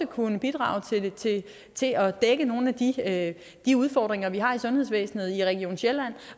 kunne bidrage til at dække nogle af de udfordringer vi har i sundhedsvæsenet i region sjælland